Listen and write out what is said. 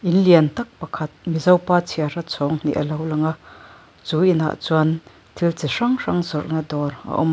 in lian tak pakhat mizopa chhiara chhawng hnih a lo lang a chu inah chuan thil chi hrang hrang zawrhna dawr a awm a.